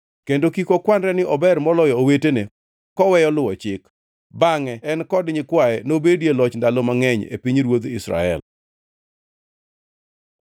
Kendo kik okwanre ni ober maloyo owetene koweyo luwo chik. Bangʼe en kod nyikwaye nobedie loch ndalo mangʼeny e pinyruodh Israel.